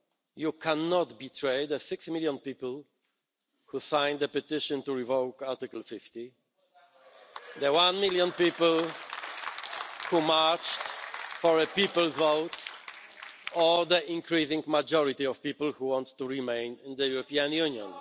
You cannot betray the six million people who signed the petition to revoke Article 50, the one million people who marched for a People's Vote, or the increasing majority of people who want to remain in the European Union.